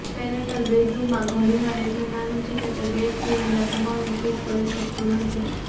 parental બેડરૂમમાં ઘણીવાર એટલું નાનું છે કે તે બેડ સિવાયના તમામને ફીટ કરી શકતું નથી